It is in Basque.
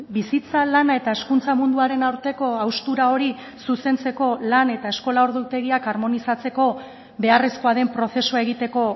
bizitza lana eta hezkuntza munduaren arteko haustura hori zuzentzeko lan eta eskola ordutegiak harmonizatzeko beharrezkoa den prozesua egiteko